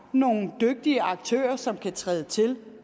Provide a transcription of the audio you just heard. nogle dygtige aktører som kan træde til